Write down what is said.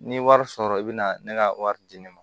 N'i ye wari sɔrɔ i be na ne ka wari di ne ma